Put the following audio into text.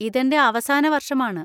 ഇതെന്‍റെ അവസാന വര്‍ഷമാണ്‌.